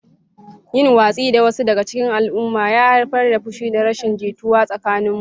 Yin watsi da wasu daga cikin al'umma ya haifar da fushi da rashin jituwa tsakanin mutane.